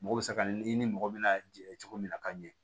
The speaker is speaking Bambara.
Mɔgɔ bɛ se ka i ni mɔgɔ mina jɛ cogo min na ka ɲɛ